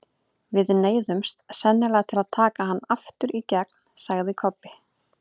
Við neyðumst sennilega til að taka hann aftur í gegn, sagði Kobbi.